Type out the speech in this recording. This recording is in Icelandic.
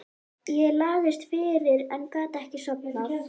Ég lagðist fyrir en gat ekki sofnað.